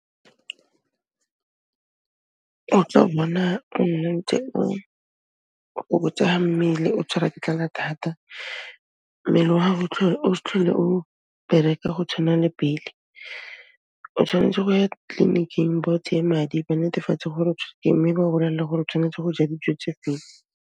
Mmele o tshwarwa ke tlala thata. Mmele wa hao o s'tlhole o bereka go tshwana le pele. O tshwanetse go ya tleliniking ba o tseye madi, ba netefatse gore o tshwerwe ke eng, mme ba o bolelela hore o tshwanetse go ja dijo tse feng.